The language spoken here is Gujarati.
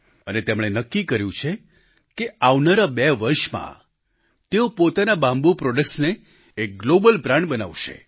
અને તેમણે નક્કી કર્યું છે કે આવનારા 2 વર્ષમાં તેઓ પોતાના બામ્બૂ પ્રોડક્ટ્સને એક ગ્લોબલ બ્રાન્ડ બનાવશે